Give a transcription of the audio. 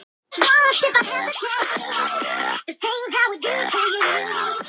Sindri: Hver er staða Bjarna innan flokksins í dag?